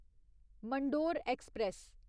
Mandore express